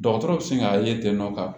Dɔgɔtɔrɔ bɛ se ka ye ten nɔ